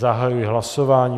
Zahajuji hlasování.